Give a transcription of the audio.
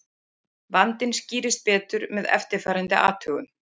Vandinn skýrist betur með eftirfarandi athugun.